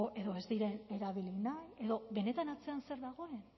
edo ez diren erabili nahi edo benetan atzean zer dagoen